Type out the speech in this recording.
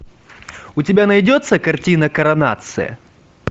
у тебя найдется картина коронация